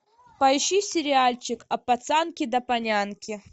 поищи сериальчик от пацанки до полянки